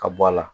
Ka bɔ a la